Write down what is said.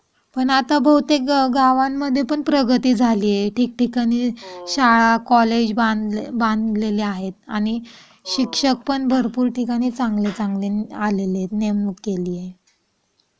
आता बहुतेक गावांमध्ये पण प्रगती झाली आहे ठिकठिकाणी शाळा, कॉलेज बांधले आहेत बांधलेले आहेत. आणि शिक्षक पण भरपूर ठिकाणी चांगले आलेले आहेत नेमक केलेले आहे.